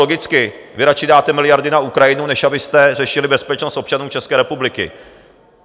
Logicky - vy radši dáte miliardy na Ukrajinu, než abyste řešili bezpečnost občanů České republiky.